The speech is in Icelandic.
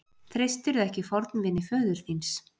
Treystirðu ekki fornvini föður þíns?